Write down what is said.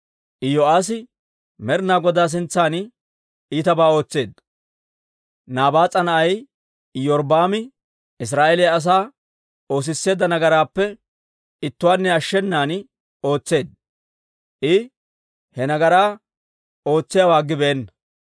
Iyo'aassi Med'inaa Godaa sintsan iitabaa ootseedda. Nabaas'a na'ay Iyorbbaami Israa'eeliyaa asaa oosisseedda nagaraappe ittuwaanne ashshenan ootseedda; I he nagaraa ootsiyaawaa aggibeenna.